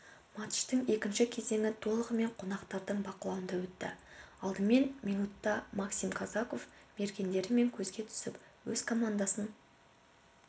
матчтың екінші кезеңі толығымен қонақтардың бақылауында өтті алдымен минутта максим казаков мергендігімен көзге түсіп өз командасын